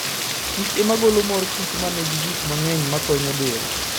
Kichema golo mor kich ma nigi gik mang'eny makonyo del.